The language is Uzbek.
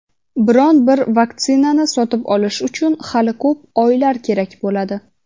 biron bir vaksinani sotib olish uchun "hali ko‘p oylar kerak bo‘ladi".